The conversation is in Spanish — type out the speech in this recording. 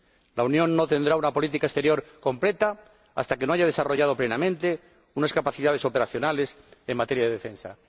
La Unión no tendrá una política exterior completa hasta que no haya desarrollado plenamente capacidades operacionales en materia de defensa.